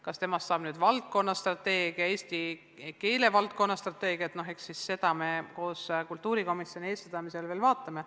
Kas temast saab nüüd valdkonnastrateegia, eesti keele valdkonna strateegia, no eks me seda kultuurikomisjoni eestvedamisel veel vaatame.